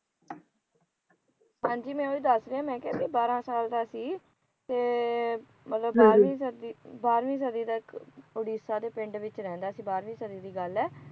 ਹਾਂਜੀ ਮੈ ਉਹੀ ਦੱਸ ਰਹੀ ਹਾ ਮੈ ਕਿਹਾ ਜੇ ਬਾਹਰਾ ਸਾਲ ਦਾ ਸੀ ਤੇ ਮਤਲਬ ਬਾਰਵੀ ਸਦੀ ਦਾ ਇਕ ਉੜੀਸੇ ਦਾ ਪਿੰਡ ਵਿੱਚ ਰਹਿੰਦਾ ਸੀ ਬਾਰਵੀ ਸਦੀ ਦੀ ਗੱਲ ਹੈ